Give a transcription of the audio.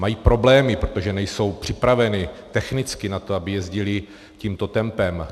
Mají problémy, protože nejsou připraveny technicky na to, aby jezdily tímto tempem.